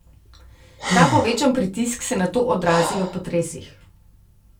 Ta povečan pritisk se nato odrazi v potresih.